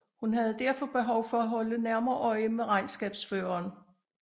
Hun havde derfor behov for at holde nærmere øje med regnskabsførelsen og kunne ikke nøjes med at konsultere et årsregnskab